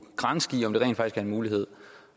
granske i om det rent faktisk er en mulighed